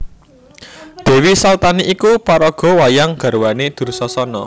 Dèwi Saltani iku paraga wayang garwané Dursasana